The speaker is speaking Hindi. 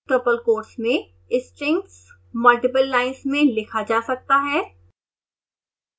triple quotes में strings मल्टिपल लाइन्स में लिखा जा सकता है